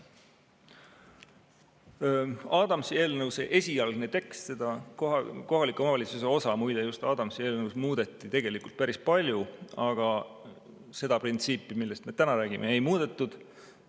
Adamsi eelnõu esialgsesse teksti, siis seda kohaliku omavalitsuse osa, muide, just Adamsi eelnõus muudeti tegelikult päris palju, aga seda printsiipi, millest me täna räägime, ei muudetud.